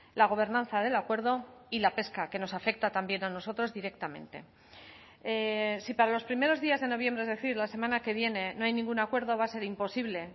la gobernanza del acuerdo y la pesca que nos afecta también a nosotros directamente si para los primeros días de noviembre es decir la semana que viene no hay ningún acuerdo va a ser imposible